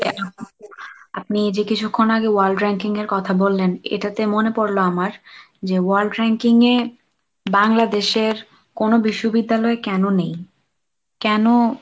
আপনি যে কিছুক্ষণ আগে world ranking এর কথা বললেন এটাতে মনে পড়লো আমার যে world ranking এ বাংলাদেশের কোনো বিশ্ববিদ্যালয় কেনো নেই? কেনো?